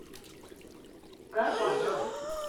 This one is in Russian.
горбатову